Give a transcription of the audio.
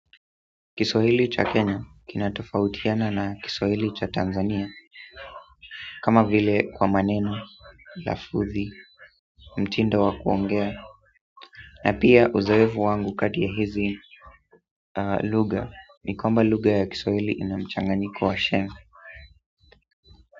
Kiswahili cha Kenya kinatofautiana na Kiswahili cha Tanzania kama vile kwa maneno, lafuthi, mtindo wa kuongea na pia uzoevu wangu kati ya hizi luga ni kwamba luga ya Kiswahili ina mchanganyiko wa sheng.